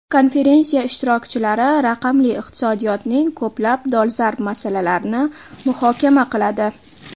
Konferensiya ishtirokchilari raqamli iqtisodiyotning ko‘plab dolzarb masalalarini muhokama qiladi.